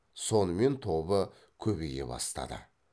сонымен тобы көбейе бастады